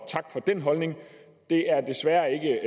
tak for den holdning det er desværre ikke